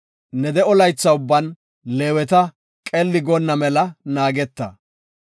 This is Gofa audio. Ne de7o laytha ubban Leeweta qelli goonna mela naageta.